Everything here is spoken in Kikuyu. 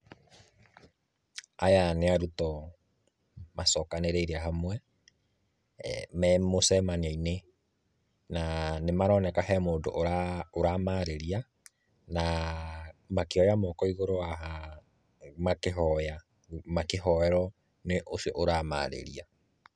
Aya nĩ arutwo macokanĩrĩire hamwe, me mũcemanio-inĩ, na nĩ maroneka he mũndũ ũramarĩria na makĩoya moko igũrũ haha makĩhoya, makĩhoerwo nĩ ũcio ũramarĩria.